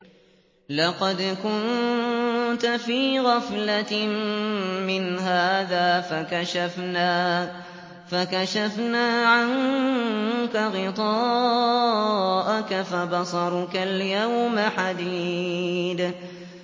لَّقَدْ كُنتَ فِي غَفْلَةٍ مِّنْ هَٰذَا فَكَشَفْنَا عَنكَ غِطَاءَكَ فَبَصَرُكَ الْيَوْمَ حَدِيدٌ